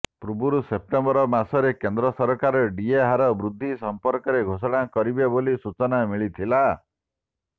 ପୂର୍ବରୁ ସେପ୍ଟେମ୍ବର ମାସରେ କେନ୍ଦ୍ର ସରକାର ଡିଏ ହାର ବୃଦ୍ଧି ସମ୍ପର୍କରେ ଘୋଷଣା କରିବେ ବୋଲି ସୂଚନା ମିଳିଥିଲା